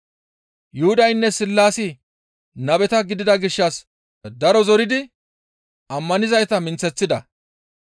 Yuhudaynne Sillaasi nabeta gidida gishshas daro zoridi ammanizayta minththeththida.